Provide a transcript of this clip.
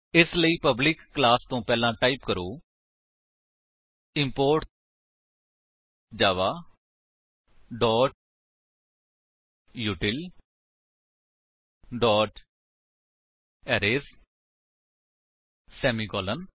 ਇਸਲਈ public class ਤੋ ਪਹਿਲਾਂ ਟਾਈਪ ਕਰੋ import Java util arrays semicolon